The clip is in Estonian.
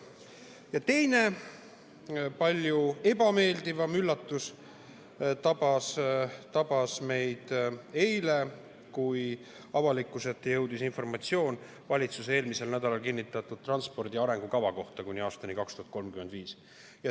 Ja teine, palju ebameeldivam üllatus tabas meid eile, kui avalikkuse ette jõudis informatsioon eelmisel nädalal valitsuses kinnitatud transpordi ja liikuvuse arengukava kohta kuni aastani 2035.